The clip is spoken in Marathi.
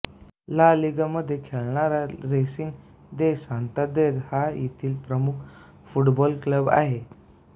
ला लीगामध्ये खेळणारा रेसिंग दे सांतांदेर हा येथील प्रमुख फुटबॉल क्लब आहे